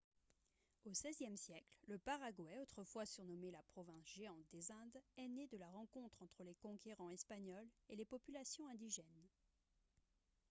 au xvie siècle le paraguay autrefois surnommé « la province géante des indes » est né de la rencontre entre les conquérants espagnols et les populations indigènes